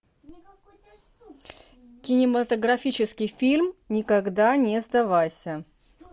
кинематографический фильм никогда не сдавайся